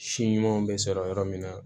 Si ɲumanw bɛ sɔrɔ yɔrɔ min na